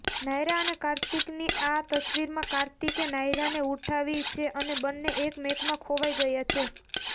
નાયરા અને કાર્તિકની આ તસ્વિરમાં કાર્તિકે નાયરાને ઉઠાવી છે અને બન્ને એકમેકમાં ખોવાઈ ગયા છે